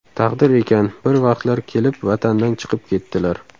Taqdir ekan, bir vaqtlar kelib vatandan chiqib ketdilar.